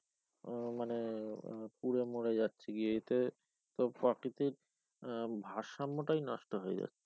আহ মানে পুরে মরে যাচ্ছে প্রাকৃতিক আহ ভারসাম্যটাই নষ্ট হয়ে যাচ্ছে।